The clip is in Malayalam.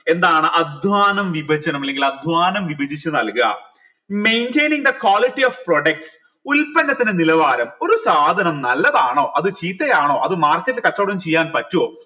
എന്താണ് അധ്വാനം വിഭജനം അല്ലെങ്കിൽ അധ്വാനം വിഭജിച്ച് നൽക maintaining the quality of product ഉൽപ്പന്നത്തിന്റെ നിലവാരം ഒരു സാധനം നല്ലതാണോ ചീത്തയാണോ അത് market ൽ കച്ചോടം ചെയ്യാൻ പറ്റുവോ